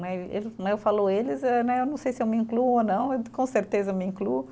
Ele né, eu falo eles, eh né, eu não sei se eu me incluo ou não, com certeza eu me incluo.